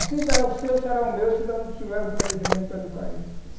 Assim será o seu, será o meu, se eu não tiver um planejamento para educar eles.